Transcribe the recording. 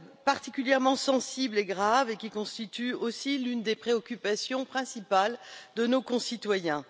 particulièrement sensible et grave et qui constitue aussi l'une des préoccupations principales de nos concitoyens.